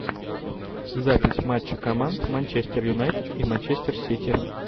запись матча команд манчестер юнайтед и манчестер сити